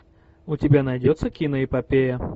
у тебя найдется киноэпопея